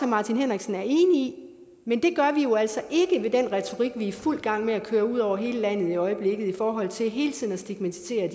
martin henriksen er enig i men det gør vi jo altså ikke med den retorik vi er i fuld gang med at køre ud over hele landet i øjeblikket i forhold til hele tiden at stigmatisere